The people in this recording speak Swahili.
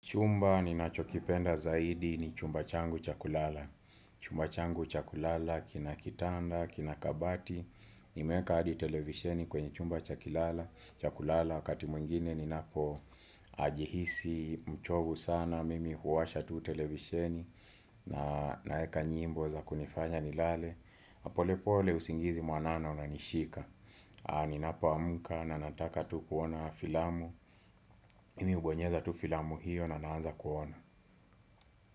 Chumba ninachokipenda zaidi ni chumba changu cha kulala. Chumba changu cha kulala kina kitanda, kina kabati. Nimeweka hadi televisheni kwenye chumba cha kulala. Wakati mwingine ni napojihisi mchovu sana mimi huwasha tu televisheni na naweka nyimbo za kunifanya nilale, polepole usingizi mwanana unanishika. Ninapo amka na nataka tu kuona filamu. Mimi hubonyeza tu filamu hiyo na naanza kuona.